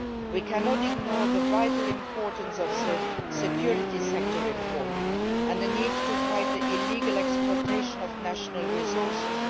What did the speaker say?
We cannot ignore the vital importance of the security sector reform and the need to fight the illegal exploitation of national resources.